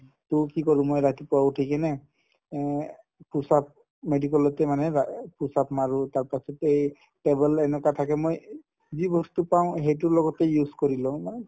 to কি কৰো মই ৰাতিপুৱা উঠি কিনে অ push up medical তে মানে ৰা push up মাৰো তাৰপাছতে এই table এনেকুৱা থাকে মই যি বস্তু পাও সেইটোৰ লগতে use কৰি লও না